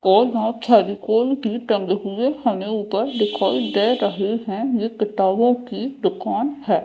और वहां फेविकोल भी टंगे हुए हमे ऊपर दिखाई दे रहे है ये किताबों की दुकान है।